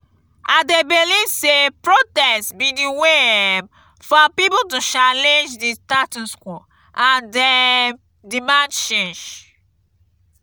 i dey believe say protest be di way um for people to challenge di status quo and um demand change.